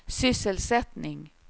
sysselsättning